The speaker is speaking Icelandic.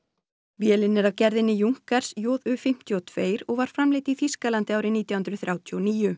vélin er af gerðinni Junkers JU fimmtíu og tvö og var framleidd í Þýskalandi árið nítján hundruð þrjátíu og níu